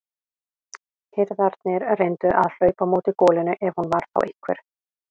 Hirðarnir reyndu að hlaupa á móti golunni ef hún var þá einhver.